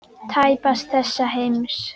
Tæpast þessa heims.